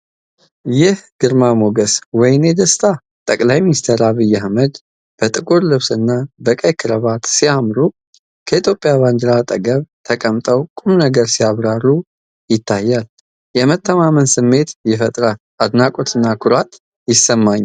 ይህ ግርማ ሞገስ! ወይኔ ደስታ! ጠቅላይ ሚኒስትር አብይ አህመድ በጥቁር ልብስና በቀይ ክራባት ሲያምሩ። ከኢትዮጵያ ባንዲራ አጠገብ ተቀምጠው ቁም ነገር ሲያብራሩ ይታያሉ። የመተማመን ስሜት ይፈጥራሉ። አድናቆትና ኩራት ይሰማኛል!